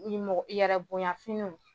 Ni mɔgɔ i yɛrɛ bonya finiw.